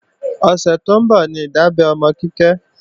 Ọ̀sẹ̀ tó ń bọ̀ ní ìdábẹ́ ọmọ Kíkẹ́